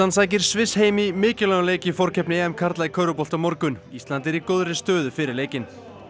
sækir Sviss heim í mikilvægum leik í forkeppni karla í körfubolta á morgun ísland er í góðri stöðu fyrir leikinn